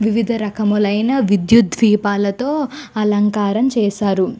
వివిధ రకములు అయిన విద్యుత్ దీపాలతో అలంకారం చేసారు.